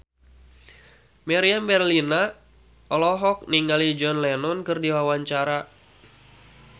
Meriam Bellina olohok ningali John Lennon keur diwawancara